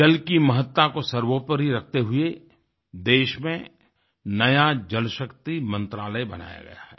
जल की महत्ता को सर्वोपरि रखते हुए देश में नया जल शक्ति मंत्रालय बनाया गया है